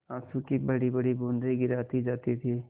आँसू की बड़ीबड़ी बूँदें गिराती जाती थी